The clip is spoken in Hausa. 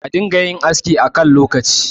a dinga yin aski a kan lokaci